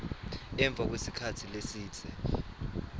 emva kwesikhatsi lesidze